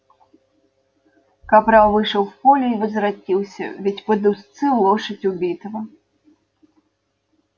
капрал вышел в поле и возвратился ведя под уздцы лошадь убитого